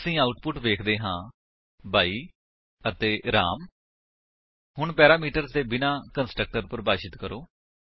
ਅਸੀ ਆਉਟਪੁਟ ਵੇਖਦੇ ਹਾਂ 22 ਅਤੇ ਰਾਮ ਹੁਣ ਪੈਰਾਮੀਟਰ ਦੇ ਬਿਨਾਂ ਕੰਸਟਰਕਟਰ ਪਰਿਭਾਸ਼ਿਤ ਕਰੋ